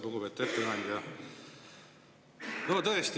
Lugupeetud ettekandja!